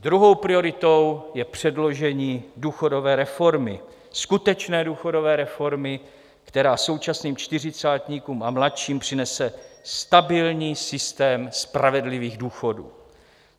Druhou prioritou je předložení důchodové reformy, skutečné důchodové reformy, která současným čtyřicátníkům a mladším přinese stabilní systém spravedlivých důchodů.